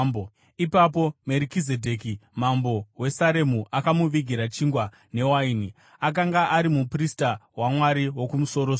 Ipapo Merikizedheki mambo weSaremu akamuvigira chingwa newaini. Akanga ari muprista waMwari Wokumusoro-soro,